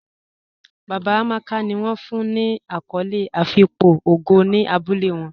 Baba Amàkà ni wọn fún ní akòlé àfíkpò ògó ní àbúlẹ̀ wọn.